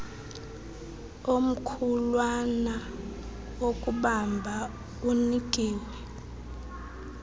omkhulwana wokubamba unikiwe